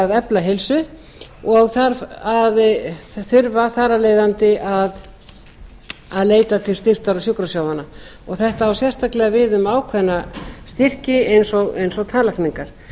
að efla heilsu og þurfa þar af leiðandi að leita til styrktar og sjúkrasjóðanna þetta á sérstaklega við um ákveðna styrki eins og tannlækningar